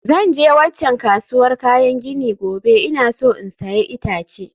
Zan je waccan kasuwar kayan gini gobe, ina so in sayi itace